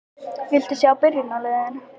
Viltu sjá byrjunarliðin?